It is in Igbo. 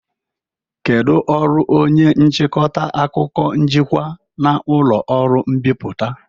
Kedu ọrụ onye nchịkọta akụkọ njikwa na ụlọ ọrụ mbipụta?